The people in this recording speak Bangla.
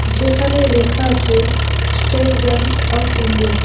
যেখানে লেখা আছে স্টেট ব্যাঙ্ক অফ ইন্ডিয়া ।